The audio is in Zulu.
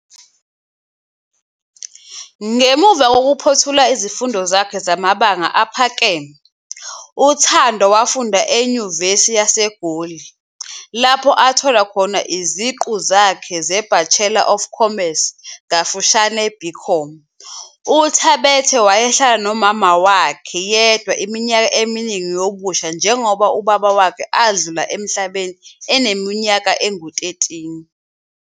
Ngemuva kokuphothula izifundo zakhe zamabanga aphakeme, uThando wafunda eNyuvesi yaseGoli, lapho athola khona iziqu zeBachelor of Commerce, BCom. UThabethe wayehlala nomama wakhe yedwa iminyaka eminingi yobusha njengoba ubaba wakhe adlula emhlabeni eneminyaka engu-13.